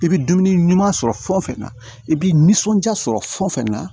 I bɛ dumuni ɲuman sɔrɔ fɛn o fɛn na i bɛ nisɔndiya sɔrɔ fɛn fɛn na